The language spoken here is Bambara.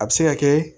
A bɛ se ka kɛ